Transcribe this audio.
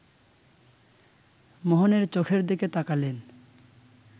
মোহনের চোখের দিকে তাকালেন